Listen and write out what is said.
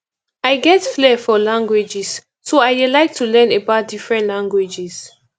i get flare for languages so i dey like to learn about different languages